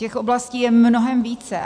Těch oblastí je mnohem více.